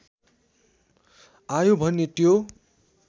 आयो भने त्यो